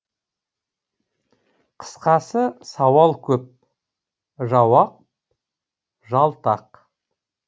қысқасы сауал көп жауап жалтақ